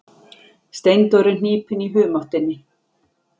Steindór er hnípinn í humáttinni.